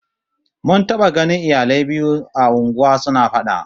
Mun taba ganin iyalai biyu a unguwa suna fada